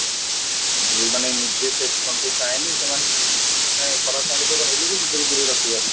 ଯେଉଁମାନେ ନିଜେ self ଆଣିଲେ ସେମାନେ ମାନେ ଖରାପ ସାଙ୍ଗ ସାଥିରେ ରହିଲେବି ନିଜକୁ ଦୁରେଇ ରଖିପାରିବେ